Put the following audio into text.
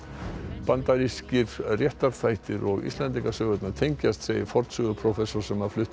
bandarískir réttarþættir og Íslendingasögurnar tengjast segir fornsöguprófessor sem flutti